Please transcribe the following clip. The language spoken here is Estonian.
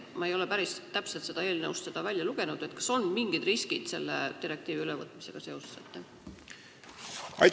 Ma ei ole eelnõust välja lugenud, kas selle direktiivi ülevõtmisega kaasnevad ka mingid riskid.